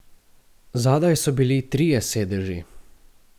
Zadaj so bili trije sedeži.